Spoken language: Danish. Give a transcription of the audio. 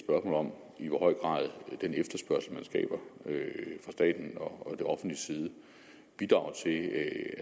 om i hvor høj grad den efterspørgsel man skaber fra statens og det offentliges side bidrager til at